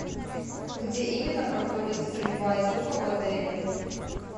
где именно проходит стрельба из лука в отеле